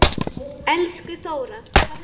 Elsku Þóra.